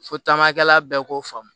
Fo taamakɛla bɛɛ k'o faamu